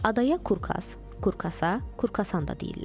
Adaya Kurkaz, Kurkasa, Kurkasan da deyirlər.